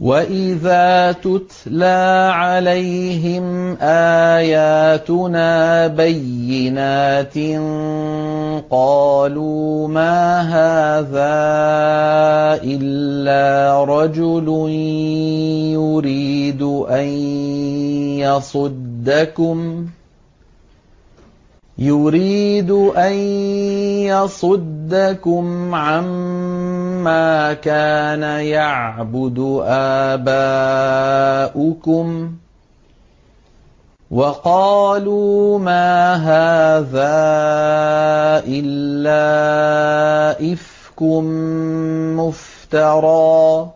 وَإِذَا تُتْلَىٰ عَلَيْهِمْ آيَاتُنَا بَيِّنَاتٍ قَالُوا مَا هَٰذَا إِلَّا رَجُلٌ يُرِيدُ أَن يَصُدَّكُمْ عَمَّا كَانَ يَعْبُدُ آبَاؤُكُمْ وَقَالُوا مَا هَٰذَا إِلَّا إِفْكٌ مُّفْتَرًى ۚ